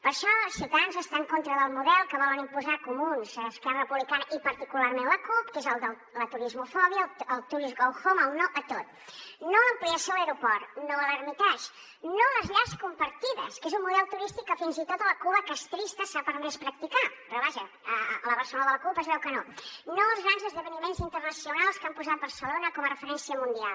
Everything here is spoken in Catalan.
per això ciutadans està en contra del model que volen imposar comuns esquerra republicana i particularment la cup que és el de la turismofòbia el tourists go home el no a tot no a l’ampliació a l’aeroport no a l’hermitage no a les llars compartides que és un model turístic que fins i tot a la cuba castrista s’ha permès practicar però vaja a la barcelona de la cup es veu que no no als grans esdeveniments internacionals que han posat barcelona com a referència mundial